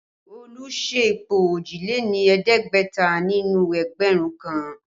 Olu ṣe ipò òjìléní-ẹ̀ẹ́dẹ́gbẹ̀ta nínú ẹgbẹ̀rún kan